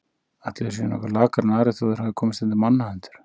Ætli þeir séu nokkuð lakari en aðrir þó þeir hafi komist undir mannahendur.